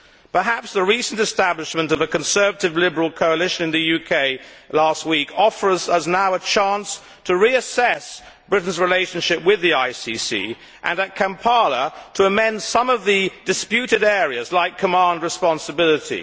Perhaps the recent establishment of a Conservative Liberal coalition in the UK last week offers us now a chance to reassess Britain's relationship with the ICC and, at Kampala, to amend some of the disputed areas, like command responsibility.